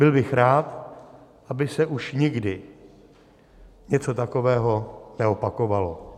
Byl bych rád, aby se už nikdy něco takového neopakovalo.